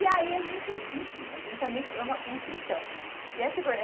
E aí a gente, enfim, a gente também é uma construção, né?